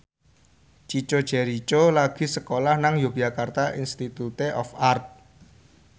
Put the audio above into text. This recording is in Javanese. Chico Jericho lagi sekolah nang Yogyakarta Institute of Art